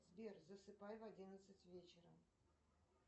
сбер засыпай в одиннадцать вечера